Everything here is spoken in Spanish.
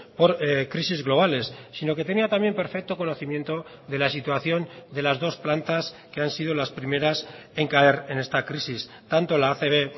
por crisis globales sino que tenía también perfecto conocimiento de la situación de las dos plantas que han sido las primeras en caer en esta crisis tanto la acb